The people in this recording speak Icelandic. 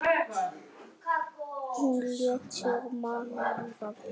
Hún lét sig mann varða.